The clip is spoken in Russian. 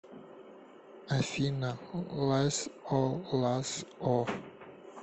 афина лас о лас о